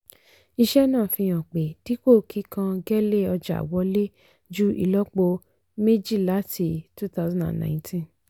iṣẹ́ náà fi hàn pé dípò kíkán gẹ́lé ọjà wọlé ju ìlọ́po méjìláti twenty nineteen.